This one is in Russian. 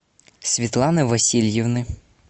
светланы васильевны